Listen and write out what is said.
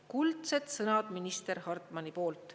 Kuldsed sõnad, minister Hartmani poolt.